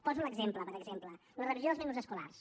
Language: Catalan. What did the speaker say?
poso l’exemple per exemple d’una revisió dels menús escolars